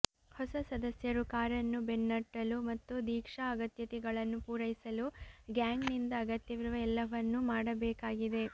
ಹೊಸ ಸದಸ್ಯರು ಕಾರನ್ನು ಬೆನ್ನಟ್ಟಲು ಮತ್ತು ದೀಕ್ಷಾ ಅಗತ್ಯತೆಗಳನ್ನು ಪೂರೈಸಲು ಗ್ಯಾಂಗ್ನಿಂದ ಅಗತ್ಯವಿರುವ ಎಲ್ಲವನ್ನೂ ಮಾಡಬೇಕಾಗಿದೆ